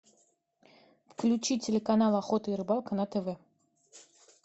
включи телеканал охота и рыбалка на тв